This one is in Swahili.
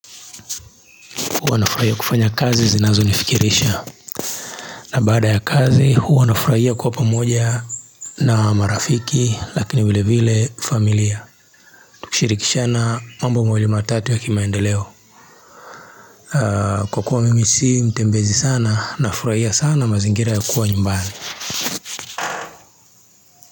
Huwa nafurahia kufanya kazi zinazonifikirisha na baada ya kazi huwa nafurahia kuwa pamoja na marafiki lakini vile vile familia Tukishirikishana mambo mawili matatu ya kimaendeleo Kwa kuwa mimi si mtembezi sana nafurahia sana mazingira ya kuwa nyumbani.